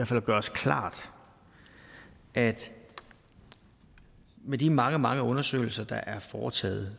til at gøre os klart at med de mange mange undersøgelser der er foretaget